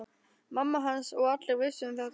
Mamma hans og allir vissu um þetta.